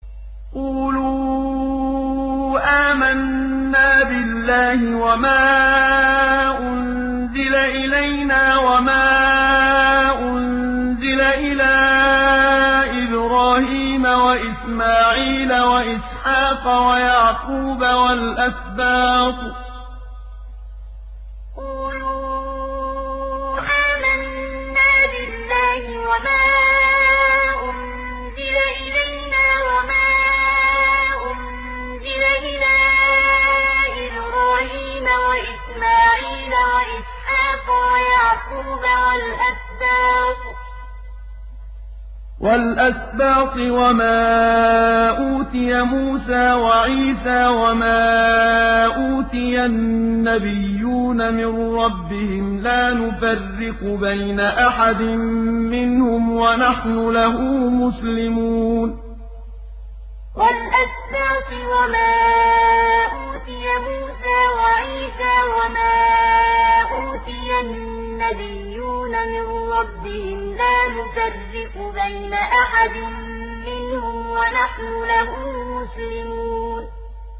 قُولُوا آمَنَّا بِاللَّهِ وَمَا أُنزِلَ إِلَيْنَا وَمَا أُنزِلَ إِلَىٰ إِبْرَاهِيمَ وَإِسْمَاعِيلَ وَإِسْحَاقَ وَيَعْقُوبَ وَالْأَسْبَاطِ وَمَا أُوتِيَ مُوسَىٰ وَعِيسَىٰ وَمَا أُوتِيَ النَّبِيُّونَ مِن رَّبِّهِمْ لَا نُفَرِّقُ بَيْنَ أَحَدٍ مِّنْهُمْ وَنَحْنُ لَهُ مُسْلِمُونَ قُولُوا آمَنَّا بِاللَّهِ وَمَا أُنزِلَ إِلَيْنَا وَمَا أُنزِلَ إِلَىٰ إِبْرَاهِيمَ وَإِسْمَاعِيلَ وَإِسْحَاقَ وَيَعْقُوبَ وَالْأَسْبَاطِ وَمَا أُوتِيَ مُوسَىٰ وَعِيسَىٰ وَمَا أُوتِيَ النَّبِيُّونَ مِن رَّبِّهِمْ لَا نُفَرِّقُ بَيْنَ أَحَدٍ مِّنْهُمْ وَنَحْنُ لَهُ مُسْلِمُونَ